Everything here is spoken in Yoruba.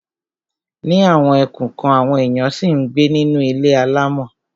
Ní àwọn ẹkùn kan, àwọn èèyàn ṣì ń gbé nínú ilé ilé alámọ̀.